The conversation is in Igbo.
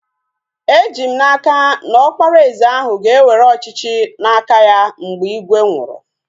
Eji m n'aka, na Ọkpara eze ahu ga-ewere ọchịchị n'aka ya mgbe ígwè nwụrụ